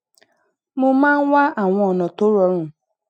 mo máa ń wá àwọn ònà tó rọrùn